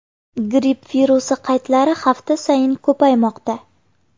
Gripp virusi qaydlari hafta sayin ko‘paymoqda.